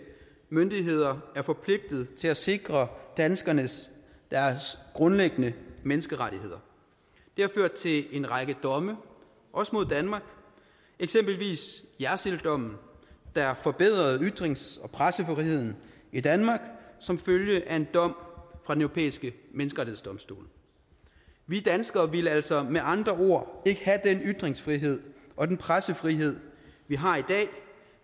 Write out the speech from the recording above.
myndigheder er forpligtet til at sikre danskernes grundlæggende menneskerettigheder det har ført til en række domme også mod danmark eksempelvis jersilddommen der forbedrede ytrings og pressefriheden i danmark som følge af en dom fra den europæiske menneskerettighedsdomstol vi danskere ville altså med andre ord ikke have den ytringsfrihed og den pressefrihed vi har i dag